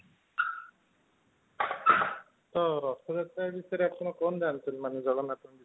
ତ ରା଼ଥଯାତ୍ରା ବିଷୟରେ କଣ ଜାଣିଛନ୍ତି, ମାନେ ଜଗନ୍ନାଥଙ୍କ ବିଷୟରେ ?